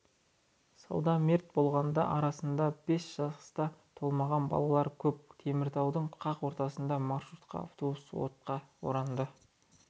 суда мерт болғандар арасында бес жасқа толмаған балалар көп теміртаудың қақ ортасында маршруттық автобус отқа оранды